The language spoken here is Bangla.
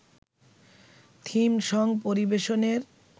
থিম সং পরিবেশনের